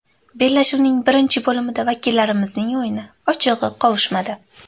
Bellashuvning birinchi bo‘limida vakillarimizning o‘yini ochig‘i qovushmadi.